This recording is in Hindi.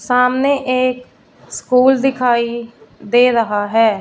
सामने एक स्कूल दिखाइ दे रहा हैं।